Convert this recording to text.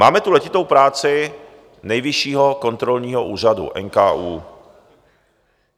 Máme tu letitou práci Nejvyššího kontrolního úřadu, NKÚ.